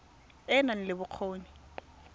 e e nang le bokgoni